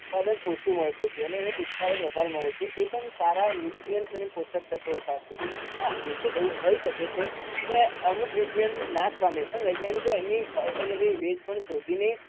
ઉત્પાદન ઓછું મળતું હતું અને હવે ઉત્પાદન વધારે મળે છે એ પણ સારા nutrients અને પોષક તત્વો સાથે હા બેશક એવું હોઈ શકે છે કે અમુક nutrients નાશ પામે પણ વૈજ્ઞાનિકો એની alternative શ શોધીને